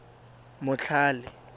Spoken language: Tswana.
motlhale